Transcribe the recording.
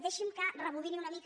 deixi’m que rebobini una mica